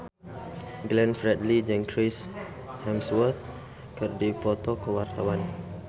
Glenn Fredly jeung Chris Hemsworth keur dipoto ku wartawan